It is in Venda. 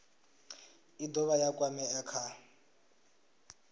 i dovha ya kwamea kha